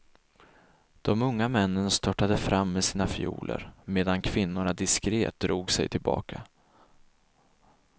De unga männen störtade fram med sina fioler, medan kvinnorna diskret drog sig tillbaka.